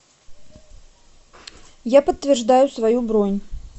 я подтверждаю свою бронь